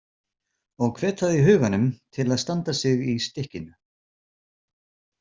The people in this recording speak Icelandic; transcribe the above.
Og hvet það í huganum til að standa sig í stykkinu.